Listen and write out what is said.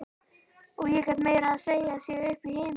Og ég gat meira að segja séð upp í himininn.